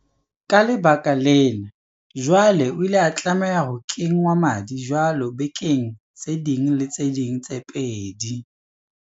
Ka lebaka lena, jwale o ile a tlameha ho kengwa madi jwalo bekeng tse ding le tse ding tse pedi.